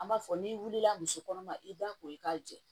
An b'a fɔ n'i wulila misi kɔnɔma i b'a ko i k'a jɛ